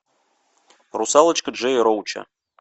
русалочка джея роуча